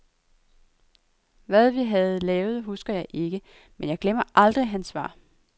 Hvad vi havde lavet husker jeg ikke, men jeg glemmer aldrig hans svar.